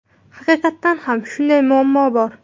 Haqiqatan ham shunday muammo bor.